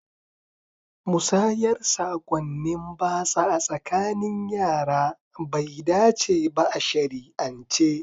Musayar sakonnin batsa a tsakanin yara bai dace ba a shari'ance.